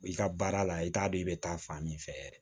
I ka baara la i t'a dɔn i bɛ taa fan min fɛ yɛrɛ